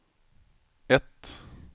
ett